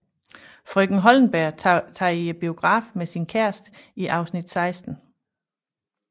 Frøken Hollenberg tager i biografen med sin kæreste i afsnit 16